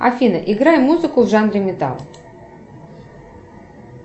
афина играй музыку в жанре металл